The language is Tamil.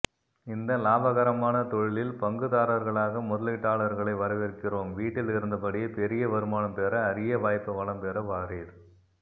இந்த லாபகரமான தொழிலில் பங்குதாரர்களாக முதலீட்டாளர்களை வரவேற்கிறோம் வீட்டில் இருந்தபடியே பெரிய வருமானம் பெற அரிய வாய்ப்பு வளம்பெற வாரீர்